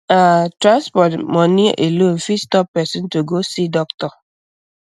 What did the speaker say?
um ah transport um money alone fit stop person to go see doctor